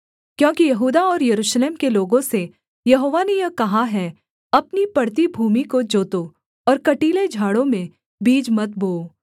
क्योंकि यहूदा और यरूशलेम के लोगों से यहोवा ने यह कहा है अपनी पड़ती भूमि को जोतो और कटीले झाड़ों में बीज मत बोओ